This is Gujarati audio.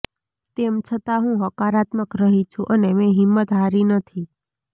તેમ છતાં હું હકારાત્મક રહી છું અને મેં હિંમત હારી નથી